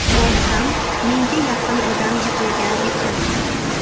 Borsam, mingga yaqin odam yig‘ilgan ekan.